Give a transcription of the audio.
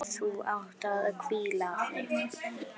Þú átt að hvíla þig.